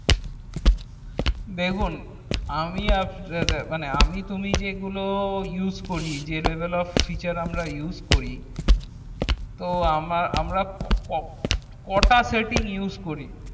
দেখুন আমি তুমি যেগুলো use করি যা level of feture use সেগুলো কটা setting use করি